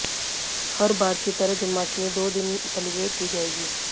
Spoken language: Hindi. हर बार की तरह जन्माष्टमी दो दिन सेलिब्रेट की जायेगी